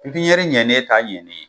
pipiɲɛri ɲɛnnen t'a ɲɛn ne ye